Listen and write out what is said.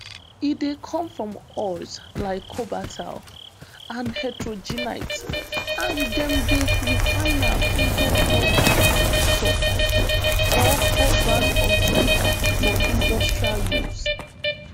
e dey come from ores like cobaltite and heterogenite and dem dey refine am into cobalt sulfate or cobalt oxide for industrial use